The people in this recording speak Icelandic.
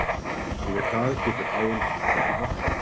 Yfir það getur áin flætt í vöxtum.